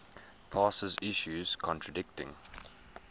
passes issues contradicting